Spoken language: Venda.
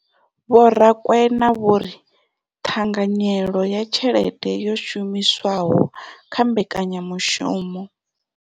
Vho Rakwena vho ri ṱhanganyelo ya tshelede yo shumiswaho kha mbekanyamushumo.